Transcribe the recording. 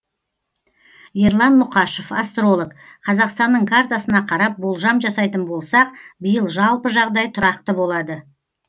ерлан мұқашев астролог қазақстанның картасына қарап болжам жасайтын болсақ биыл жалпы жағдай тұрақты болады